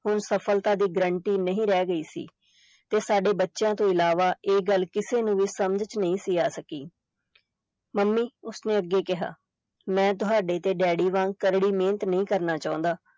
ਹੁਣ ਸਫਲਤਾ ਦੀ guarantee ਨਹੀਂ ਰਹਿ ਗਈ ਸੀ ਤੇ ਸਾਡੇ ਬੱਚਿਆਂ ਤੋਂ ਇਲਾਵਾ ਇਹ ਗੱਲ ਕਿਸੇ ਨੂੰ ਵੀ ਸਮਝ ਵਿਚ ਨਹੀਂ ਸੀ ਆ ਸਕੀ ਮੰਮੀ ਉਸਨੇ ਅੱਗੇ ਕਿਹਾ, ਮੈਂ ਤੁਹਾਡੇ ਤੇ daddy ਵਾਂਗ ਕਰੜੀ ਮਿਹਨਤ ਨਹੀਂ ਕਰਨਾ ਚਾਹੁੰਦਾ।